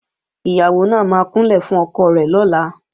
Ìyàwó náà máa kúnlẹ̀ fún ọkọ rẹ̀ lọ́la